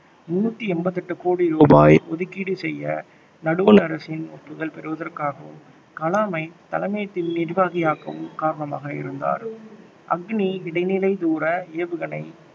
முன்னூற்றி எண்பத்தி எட்டு கோடி ரூபாய் ஒதுக்கீடு செய்ய நடுவண் அரசின் ஒப்புதல் பெறுவதற்காகவும் கலாமை தலைமை நிர்வாகியாக்கவும் காரணமாக இருந்தார் அக்னி இடைநிலை தூர ஏவுகணை